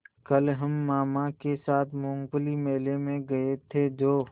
कल हम मामा के साथ मूँगफली मेले में गए थे जो